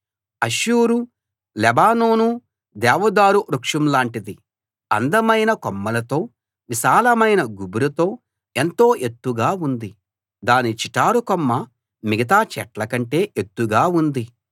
అష్షూరు లెబానోను దేవదారు వృక్షం లాంటిది అందమైన కొమ్మలతో విశాలమైన గుబురుతో ఎంతో ఎత్తుగా ఉంది దాని చిటారు కొమ్మ మిగతా చెట్ల కంటే ఎత్తుగా ఉంది